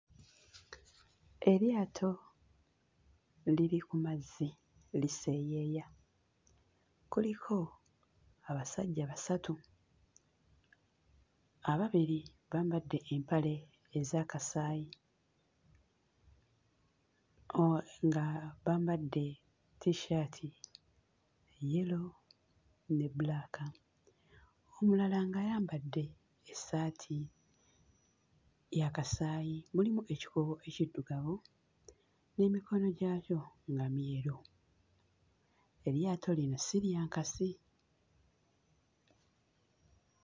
Eryato liri ku mazzi liseeyeeya. Kuliko abasajja basatu; ababiri bambadde empale eza kasaayi, o... nga bambadde tissaati ya yero ne bbulaaka, omulala ng'ayambadde essaati ya kasaayi, mulimu ekikuubo ekiddugavu, n'emikono gyakyo nga myeru; eryato lino si lya nkasi.